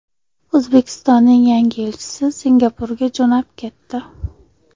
O‘zbekistonning yangi elchisi Singapurga jo‘nab ketdi.